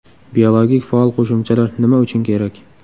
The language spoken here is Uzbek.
Biologik faol qo‘shimchalar nima uchun kerak?